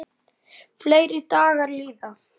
Fleiri dagar líða.